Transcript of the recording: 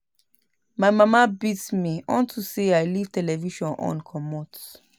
My mama beat me unto say I leave the television on comot